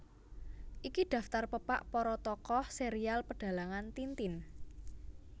Iki daftar pepak para tokoh serial Pedhalangan Tintin